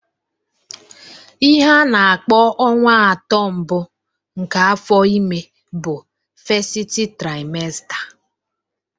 Ihe ana-akpọ ọnwa atọ mbụ nke afọ ime bụ festi traimesta